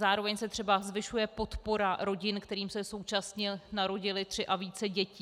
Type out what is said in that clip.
Zároveň se třeba zvyšuje podpora rodin, kterým se současně narodily tři a více dětí.